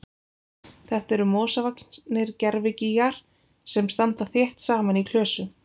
Þetta eru mosavaxnir gervigígar sem standa þétt saman í klösum.